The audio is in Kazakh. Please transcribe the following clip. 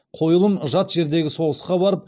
қойылым жат жердегі соғысқа барып